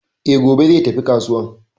E, gobe zai tafi kasuwan